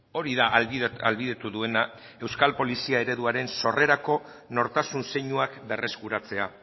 hori da ahalbidetu duena euskal polizia ereduaren sorrerako nortasun zeinuak berreskuratzea